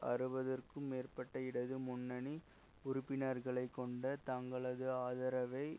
அறுபதுக்கும் மேற்பட்ட இடது முன்னணி உறுப்பினர்களை கொண்ட தங்களது ஆதரவை